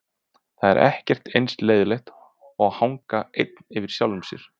Það er ekkert eins leiðinlegt og að hanga einn yfir sjálfum sér.